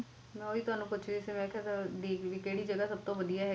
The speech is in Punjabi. ਮੈਂ ਓਹੀ ਤੁਹਾਨੂੰ ਪੁੱਛ ਦੀ ਸੀ ਕੀ ਕਿਹੜੀ ਜਗਾਹ ਸਭ ਤੋਂ ਵਧੀਆ ਹੈਗੀ